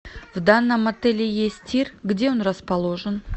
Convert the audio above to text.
в данном отеле есть тир где он расположен